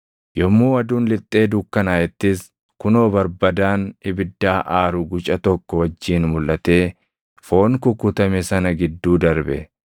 Yommuu aduun lixxee dukkanaaʼettis kunoo barbadaan ibiddaa aaru guca tokko wajjin mulʼatee foon kukkutame sana gidduu darbe.